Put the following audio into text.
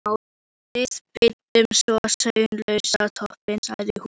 Við bindum svo slaufu á toppinn, sagði hún.